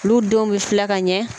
Olu denw bɛ filɛ ka ɲɛ